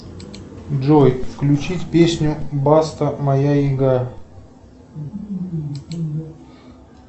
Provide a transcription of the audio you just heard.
джой включить песню баста моя игра